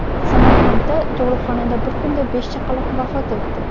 Samarqandda tug‘uruqxonada bir kunda besh chaqaloq vafot etdi.